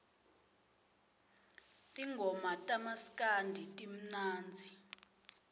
tingoma tamaskandi timnandzi